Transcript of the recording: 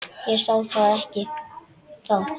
Ég sá það ekki þá.